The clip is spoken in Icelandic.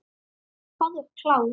Hvað þú ert klár.